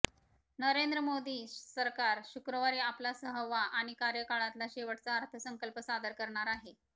नरेंद्र मोदी सरकार शुक्रवारी आपला सहावा आणि कार्यकाळातला शेवटचा अर्थसंकल्प सादर करणार आहे